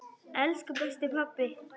Elsku besti pabbi!